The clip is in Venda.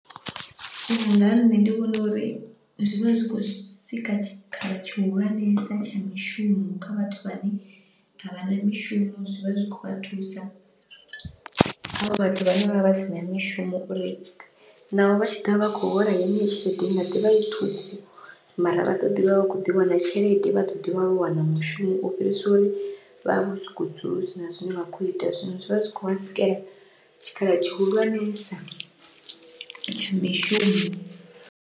Uya nga ha nṋe ndi vhona uri zwivha zwi khou sika tshikhala tshihulwanesa tsha mishumo, kha vhathu vhane a vha na mishumo zwi vha zwi khou vha thusa havho vhathu vhane vha vha sina mishumo uri naho vha tshi ḓovha vha khou hola heneyo tshelede inga ḓivha i ṱhukhu, mara vhaṱoḓi vha vha kho ḓi wana tshelede vhaṱoḓi vha wana mushumo u fhirisa uri vha vha vho sokou dzula hu sina zwine vha kho ita, zwino zwivha zwikho vha sikela tshikhala tshihulwanesa tsha mishumo.